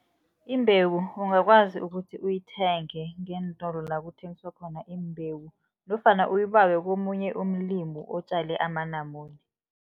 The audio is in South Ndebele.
Imbewu ungakwazi ukuthi uyithenge ngeentolo la kuthengiswa khona imbewu nofana uyibawe komunye umlimo otjale amanamune.